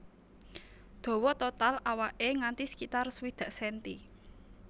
Dawa total awaké nganti sekitar swidak senti